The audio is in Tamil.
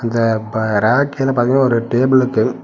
இந்த ப ரேக் கீழ பாத்தீங்கன்னா ஒரு டேபிள் இருக்கு.